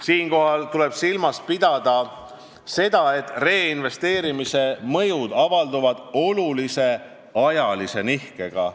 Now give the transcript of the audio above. Siinkohal tuleb silmas pidada seda, et reinvesteerimise mõjud avalduvad olulise ajalise nihkega.